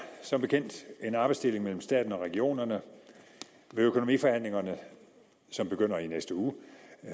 som bekendt en arbejdsdeling mellem staten og regionerne ved økonomiforhandlingerne som begynder i næste uge